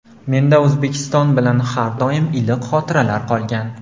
Menda O‘zbekiston bilan har doim iliq xotiralar qolgan.